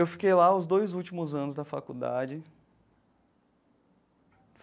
Eu fiquei lá os dois últimos anos da faculdade.